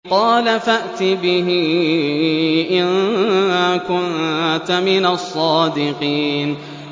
قَالَ فَأْتِ بِهِ إِن كُنتَ مِنَ الصَّادِقِينَ